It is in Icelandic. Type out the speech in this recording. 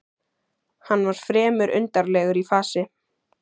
Hann var fremur undarlegur í fasi.